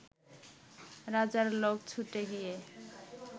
রাজার লোক ছুটে গিয়ে